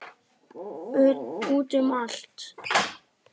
Út um allt.